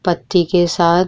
पत्ती के साथ --